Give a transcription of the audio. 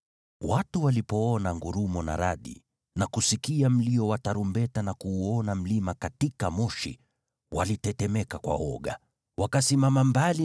Watu walipoona ngurumo na radi, na kusikia mlio wa tarumbeta, na kuuona mlima katika moshi, walitetemeka kwa woga. Wakasimama mbali